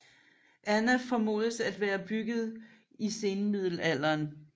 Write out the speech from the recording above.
Anna formodes at være bygget i senmiddelalderen